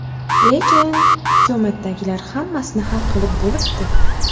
Lekin... hukumatdagilar hammasini hal qilib bo‘libdi.